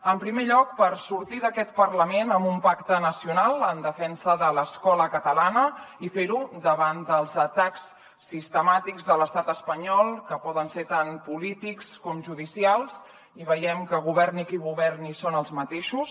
en primer lloc per sortir d’aquest parlament amb un pacte nacional en defensa de l’escola catalana i fer ho davant dels atacs sistemàtics de l’estat espanyol que poden ser tant polítics com judicials i veiem que governi qui governi són els mateixos